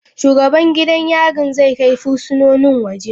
Shugaban gidan yarin zai kai fursunonin waje.